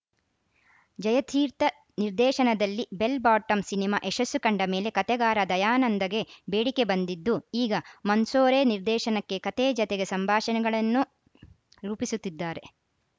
ಜಯತೀರ್ಥ ನಿರ್ದೇಶನದಲ್ಲಿ bell bottom cinema ಯಶಸ್ಸು ಕಂಡ ಮೇಲೆ ಕತೆಗಾರ ದಯಾನಂದಗೆ ಬೇಡಿಕೆ ಬಂದಿದ್ದು ಈಗ ಮಂಸೋರೆ ನಿರ್ದೇಶನಕ್ಕೆ ಕತೆ ಜತೆಗೆ ಸಂಭಾಷಣೆಗಳನ್ನೂ ರೂಪಿಸುತ್ತಿದ್ದಾರೆ